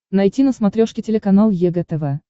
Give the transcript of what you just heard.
найти на смотрешке телеканал егэ тв